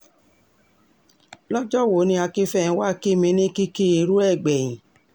lọ́jọ́ wo ni akínfẹ́ńwá kí mi ní kìkì irú ẹ̀ gbẹ̀yìn